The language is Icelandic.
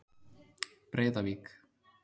Breiðavík